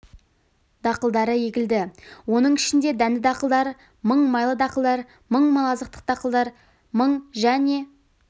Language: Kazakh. дақылдары егілді оның ішінде дәнді дақылдар мың майлы дақылдар мың мал азықтық дақылдар мың және